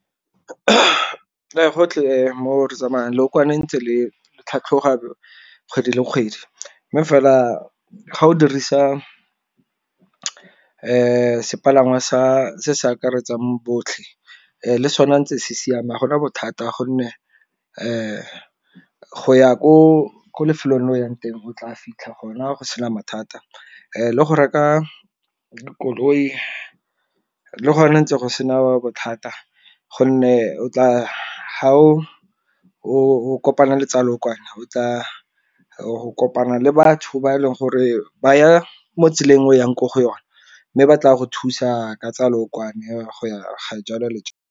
Gotlhe mo re tsamayang leokwane ntse le tlhatlhoga kgwedi le kgwedi, mme fela ga o dirisa sepalangwa sa se akaretsang botlhe le sona ntse se siame gona bothata gonne go ya ko lefelong le of yang teng o tla fitlha gona go sena mathata. Le go reka koloi le go ne ntse go sena bothata gonne o tla, ga o o kopana le tsa lookwane o tla go kopana le batho ba e leng gore ba ya mo tseleng o yang ko go yone. Mme ba tla go thusa ka tsa leokwane ga jalo le jalo.